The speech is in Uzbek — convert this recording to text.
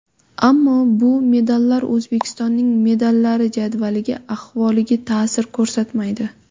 Ammo bu medallar O‘zbekistonning medallar jadvaliga ahvoliga ta’sir ko‘rsatmaydi.